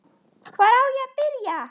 Hvar á ég að byrja!